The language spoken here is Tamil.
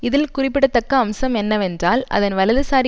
இதில் குறிப்பிடத்தக்க அம்சம் என்னவென்றால் அதன் வலதுசாரி